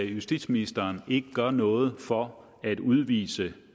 justitsministeren ikke gør noget for at udvise